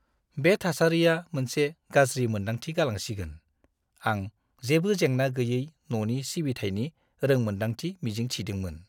बे थासारिया मोनसे गाज्रि मोनदांथि गालांसिगोन! आं जेबो जेंना-गैयै न'नि सिबिथायनि रोंमोनदांथि मिजिं थिदोंमोन!